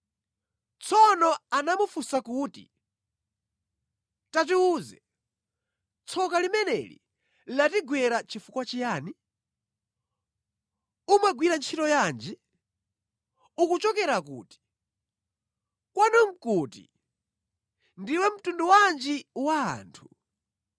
Tsono anamufunsa kuti, “Tatiwuze, tsoka limeneli latigwera chifukwa chiyani? Umagwira ntchito yanji? Ukuchokera kuti? Kwanu nʼkuti? Ndiwe mtundu wanji wa anthu?”